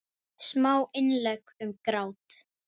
Smá innlegg um grát.